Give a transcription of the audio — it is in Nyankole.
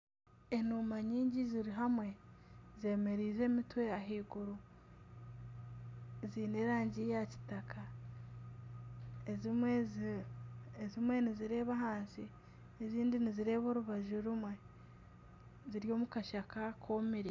Enuuma nyingi ziri hamwe zemereize emitwe ahiguru ziine erangi ya kitaka. Ezimwe nizireeba ahansi ezindi nizireeba orubaju rumwe ziri omu kashaka komire.